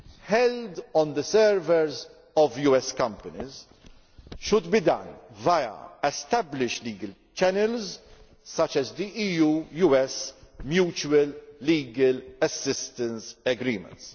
held on the servers of US companies should be done via established legal channels such as the EU US mutual legal assistance agreements.